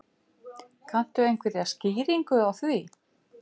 Kanntu einhverja skýringu á því?